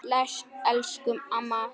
Bless, elsku amma Lára.